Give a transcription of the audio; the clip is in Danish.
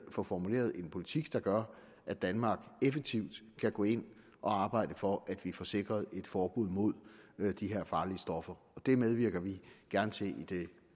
få formuleret en politik der gør at danmark effektivt kan gå ind og arbejde for at vi får sikret et forbud mod de her farlige stoffer det medvirker vi gerne til i det